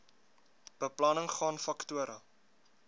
beplanning gaan faktore